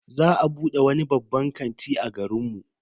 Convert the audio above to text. Za a bude wani babban kanti a garin mu.